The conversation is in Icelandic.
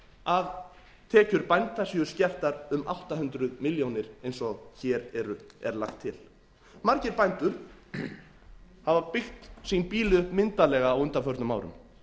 að tekjur bænda séu skertar um átta hundruð milljónir eins og hér er lagt til margir bændur hafa byggt sín býli upp myndarlega á undanförnum árum